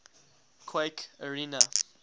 quake arena